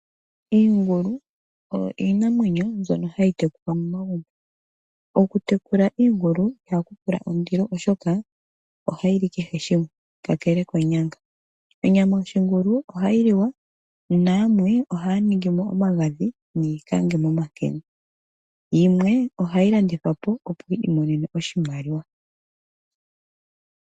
Iingulu oyo iinamwenyo mbyono hayi tekulwa momagumbo, okutekula iingulu ihaku pula ondilo, oshoka ohayi li kehe shimwe kakele konyanga. Onyama yoshingulu ohayi liwa nayamwe ohaya ningi mo omagadhi niikange momenkene. Yimwe ohayi landithwa po opo yi imonene oshimaliwa.